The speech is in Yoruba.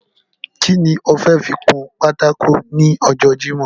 Ki ni e fẹ́ fi kun pátákó ní ọjọ́ jímòh?